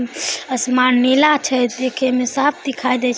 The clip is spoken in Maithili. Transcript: असमान नीला छे देखे में साफ दिखाई दे छै।